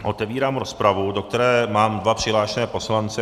Otevírám rozpravu, do které mám dva přihlášené poslance.